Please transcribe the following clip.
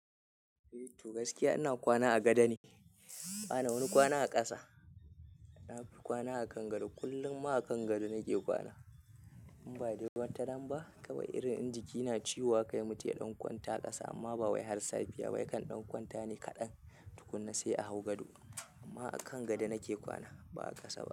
Toh gaskiya ina kwana a gado ne, bana wani kwana a ƙasa. Na fi kwana a kan gado, kullum ma a kan gado nake kwana. In ba dai wataran ba, kawai irin in jiki na ciwo haka he mutum ya ɗan kwanta a ƙasa amma ba wai har safiya ya kan ɗan kwanta ne kaɗan tukunna sai a hau gado. Amma a kan gado nake kwana ba a ƙasa ba.